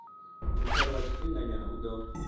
muthelo wa tshifhinganyana u ḓo